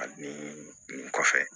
Ani nin kɔfɛ